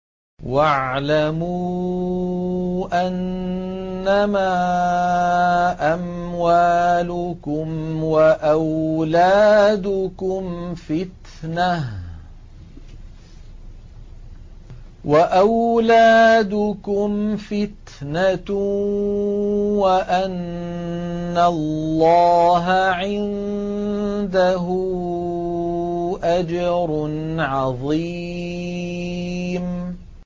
وَاعْلَمُوا أَنَّمَا أَمْوَالُكُمْ وَأَوْلَادُكُمْ فِتْنَةٌ وَأَنَّ اللَّهَ عِندَهُ أَجْرٌ عَظِيمٌ